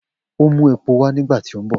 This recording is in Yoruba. O mu epo wa nigbati o nbọ.